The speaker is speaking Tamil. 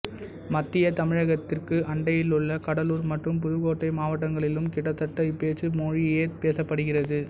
மத்தியத் தமிழகத்திற்கு அண்டையிலுள்ள கடலூர் மற்றும் புதுக்கோட்டை மாவட்டங்களிலும் கிட்டத்தட்ட இப்பேச்சு மொழியே பேசப்படுகிறது